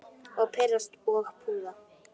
Og pirrast og puða.